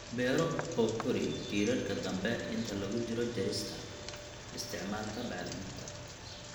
beero oo kori tiirarka dambe inta lagu jiro jarista. Isticmaalka bacriminta